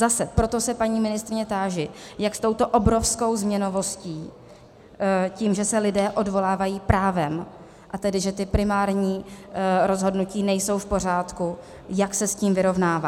Zase, proto se paní ministryně táži, jak s touto obrovskou změnovostí, tím, že se lidé odvolávají právem, a tedy že ta primární rozhodnutí nejsou v pořádku, jak se s tím vyrovnává.